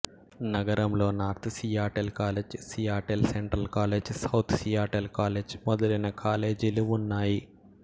నగరంలో north Seattle college Seattle central college south Seattle college మొదలైన కాలేజీలు ఉన్నాయి